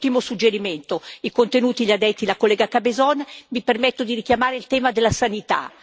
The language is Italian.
Come ultimo suggerimento i contenuti gli ha detti la collega Cabezón mi permetto di richiamare il tema della sanità.